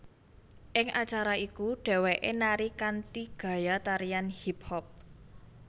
Ing acara iku dhéwéké nari kanthi gaya tarian hip hop